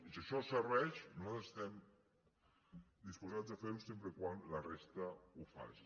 i si això serveix nosaltres estem disposats a fer ho sempre que la resta ho faci